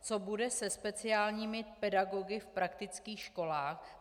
Co bude se speciálními pedagogy v praktických školách?